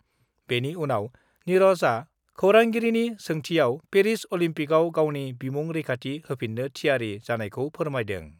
बेनि उनाव निरजआ खौरांगिरिनि सोंथिआव पेरिस अलिम्पकआव गावनि बिमुं रैखाथि होफिन्नो थियारि जानायखौ फोरमायदों।